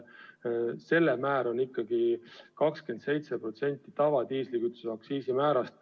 Selle määr on ikkagi 27% tavalise diislikütuse aktsiisimäärast.